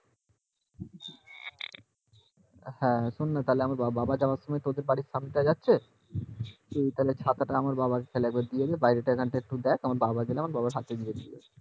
হ্যাঁ শোন্ না আমার বাবা যাওয়ার সময় তোদের বাড়ির সামনে দিয়ে যাচ্ছে তুই তাহলে ছাতাটা